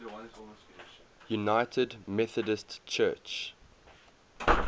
united methodist church